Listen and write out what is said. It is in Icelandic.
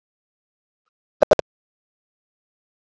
Reykjavík: Saga.